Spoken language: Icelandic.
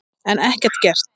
En ekkert gert.